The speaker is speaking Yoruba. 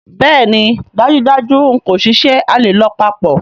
Bẹẹni dajudaju n ko ṣiṣẹ, a le lọ papọ̀.